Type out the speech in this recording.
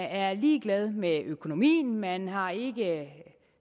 er ligeglade med økonomien og man har ikke